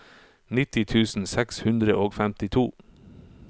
nitti tusen seks hundre og femtito